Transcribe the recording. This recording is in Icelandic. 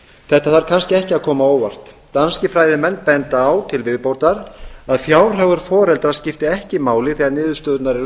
þetta þarf kannski ekki að koma á óvart danskir fræðimenn benda á til viðbótar að fjárhagur foreldra skipti ekki máli þegar niðurstöðurnar eru